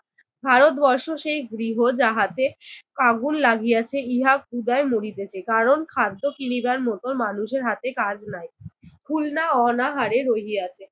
ভারতবর্ষ সেই গৃহ যাহাতে আগুন লাগিয়াছে, ইহা ক্ষুধায় মরিতেছে। কারণ খাদ্য কিনিবার মতো মানুষের হাতে কাজ নাই। খুলনা অনাহারে রহিয়াছে।